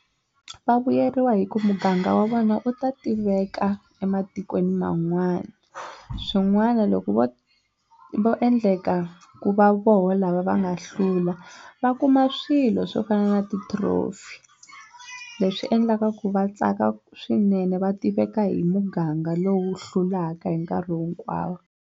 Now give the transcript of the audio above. Va vuyeriwa hi ku muganga wa vona wu ta tiveka ematikweni man'wana swin'wana loko vo vo endleka ku va voho lava va nga hlula va kuma swilo swo fana na ti trophy leswi endlaka ku va tsaka swinene va tiveka hi muganga lowu hlulaka hi nkarhi hinkwawo.